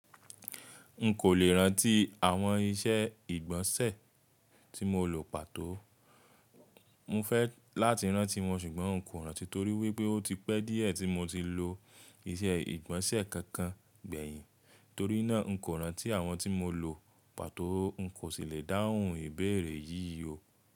N kò lè rántí àwọn iṣẹ́ ìgbọ̀nsẹ̀ tí mo lò pàtó. Mo fẹ́ láti rántí wọn ṣùgbọ́n n kò rántí torí wípé ó ti pẹ́ díẹ̀ tí mo ti lò iṣẹ́ ìgbọ̀nsẹ̀ kankan gbẹ̀yìn. Torí náà n kò rántí àwọn tí mo lò pàtó. N kò sì lè dáhùn ìbéèrè yí o.